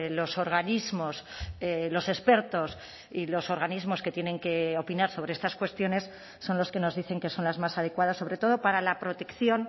los organismos los expertos y los organismos que tienen que opinar sobre estas cuestiones son los que nos dicen que son las más adecuadas sobre todo para la protección